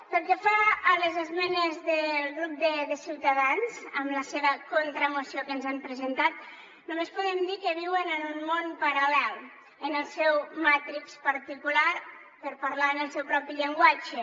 pel que fa a les esmenes del grup de ciutadans amb la seva contramoció que ens han presentat només podem dir que viuen en un món paral·lel en el seu matrix particular per parlar en el seu propi llenguatge